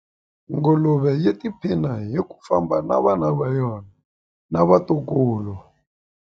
Nguluve yi tiphina hi ku famba na vana va yona na vatukulu.